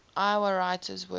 iowa writers workshop